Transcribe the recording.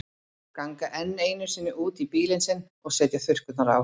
Ganga enn einu sinni út í bílinn sinn og setja þurrkurnar á.